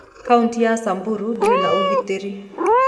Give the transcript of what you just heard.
Kauntĩ ya Samburu ndĩrĩ na ũgitĩri.